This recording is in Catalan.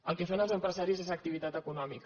el que fan els empresaris és activitat econòmica